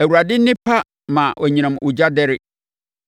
Awurade nne pa ma anyinam ogya dɛre